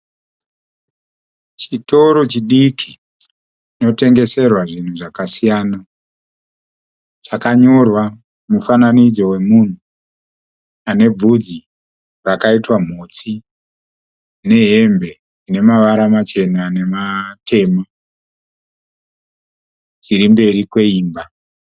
Chitoro chidiki chinotengeserwa zvinhu zvakasiyana. Chakanyorwa mufananidzo wemunhu ane bvudzi rakaitwa mhotsi nehembe ine mavara machena nematema chirimberi kweimba.